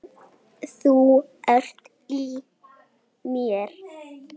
Þú ert í mér.